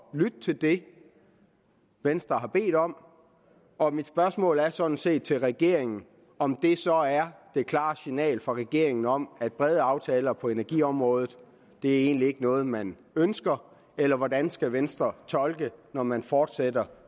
lytte til det venstre har bedt om og mit spørgsmål er sådan set til regeringen om det så er det klare signal fra regeringen om at brede aftaler på energiområdet egentlig ikke er noget man ønsker eller hvordan skal venstre tolke det når man fortsætter